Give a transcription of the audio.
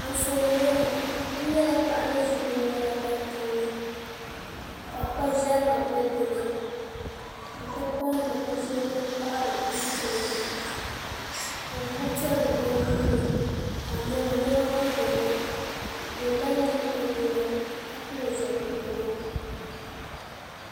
Anfooni ŋo ni n nyɛla paɣa ni ʒi binyɛra tahapoŋ ni ka kpa ʒɛrima bɛ dinni n ti pahi binshɛli din paɣari duu puuni ka o gbubi piɛ bilu o nuuni ka nyɛma nyɛma bɛ dinni ka o la nyili o nyina ka pili zipiligu